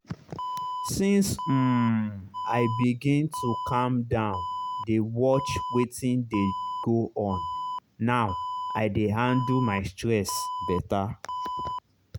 since um i begin to calm down dey watch wetin dey go on now i dey handle my stress better.